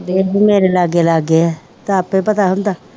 ਲਾਗੇ ਲੱਗ ਗਏ ਆਪੇ ਪਤਾ ਹੁੰਦਾ